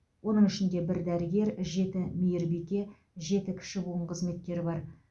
оның ішінде бір дәрігер жеті мейірбике жеті кіші буын қызметкері бар